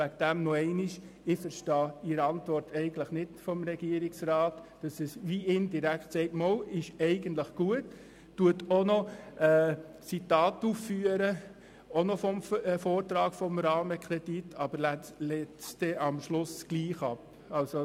Deshalb noch einmal: Ich verstehe die Antwort des Regierungsrats eigentlich nicht, wenn er indirekt sagt, das sei eigentlich gut und auch noch Zitate aus dem Vortrag zum Rahmenkredit aufführt, dann den Vorstoss letztendlich aber trotzdem ablehnt.